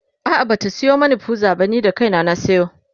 a'a Bata Sayo mani pizza ba ni da kaina na sayo